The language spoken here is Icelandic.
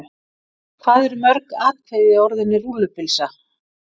Hvað eru mörg atkvæði í orðinu rúllupylsa?